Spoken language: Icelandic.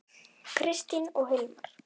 Kristín og Hilmar.